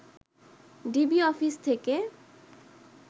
DB office থেকে